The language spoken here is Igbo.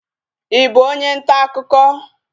Ị bụ onye ntaakụkọ?